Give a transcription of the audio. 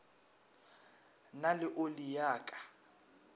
na le oli ya ka